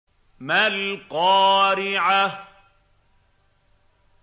مَا الْقَارِعَةُ